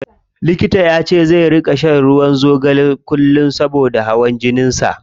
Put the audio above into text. Likita yace zai ringa shan ruwan zogale kullum saboda hawan jinin sa.